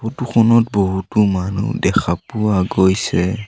Photo খনত বহুতো মানুহ দেখা পোৱা গৈছে।